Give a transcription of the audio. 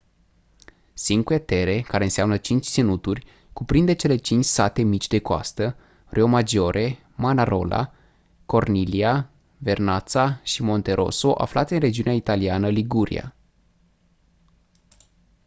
cinque terre care înseamnă cinci ținuturi cuprinde cele cinci sate mici de coastă riomaggiore manarola corniglia vernazza și monterosso aflate în regiunea italiană liguria